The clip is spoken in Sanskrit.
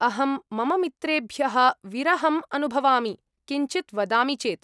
अहं मम मित्रेभ्यः विरहम् अनुभवामि, किञ्चित् वदामि चेत्।